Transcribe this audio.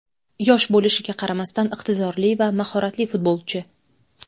Yosh bo‘lishiga qaramasdan iqtidorli va mahoratli futbolchi.